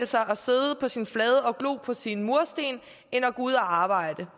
sig at sidde på sin flade og glo på sine mursten end at gå ud og arbejde